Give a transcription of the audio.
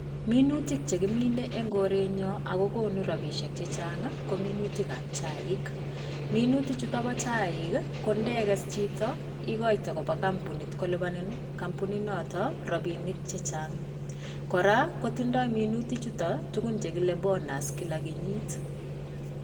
Minutik chekimine en korenyon ako konu rapisiek chechang ko minutikab chaik ,minutichuto po chaik kondekes chito ikoite kopaa kompunit kolipanin kompuninoto rapinik chechang, kora kotindoi minutichuto tukuk chekile bonus en kenyit.